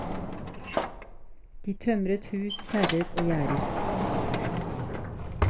De tømret hus, kjerrer og gjerder.